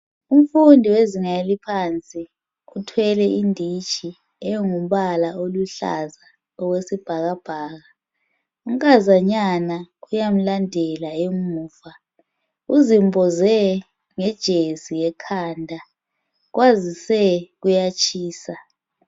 Umfundi wezinga eliphansi uthwele inditshi engumbala oluhlaza okwesibhakabhaka unkazanyana uyamulandela emuva uzimboze ngejesi ekhanda kwazise kuyatshisa.